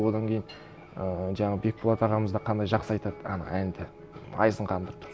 одан кейін ыыы жаңағы бекболат ағамыз да қандай жақсы айтады ана әнді байызын қандыртып тұрып